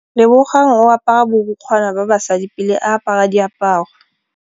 Lebogang o apara borukgwana ba basadi pele a apara diaparô.